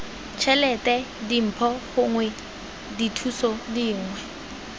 tšhelete dimpho gongwe dithuso dingwe